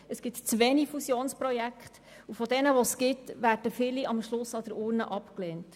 Es gibt zu wenig Fusionsprojekte und von jenen, die es gibt, werden viele am Schluss an der Urne abgelehnt.